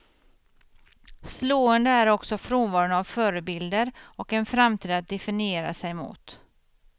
Slående är också frånvaron av förebilder och en framtid att definiera sig mot.